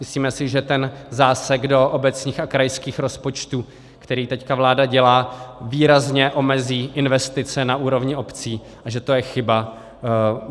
Myslíme si, že ten zásek do obecních a krajských rozpočtů, který teď vláda dělá, výrazně omezí investice na úrovni obcí, a že to je chyba.